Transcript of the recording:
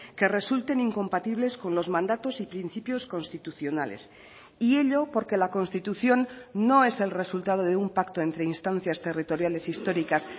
que resulten incompatibles con los mandatos y principios constitucionales y ello porque la constitución no es el resultado de un pacto entre instancias territoriales históricas